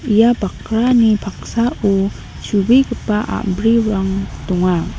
ia bakrani paksao chubegipa a·brirang donga.